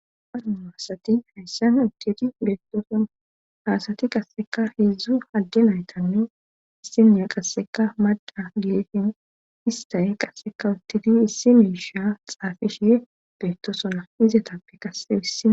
Aduu haasati hayssan uttidi beegtosona haasati qasseka heedzdzu adde naytannu issinneya qasseka mada geefin istaye qasseka uttidi issime sha xaafishe beettosona izetappe kasse hissia.